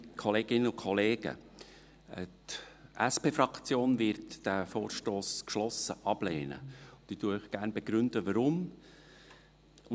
Die SP-JUSO-PSA-Fraktion wird diesen Vorstoss geschlossen ablehnen, und ich begründe Ihnen gerne, weshalb.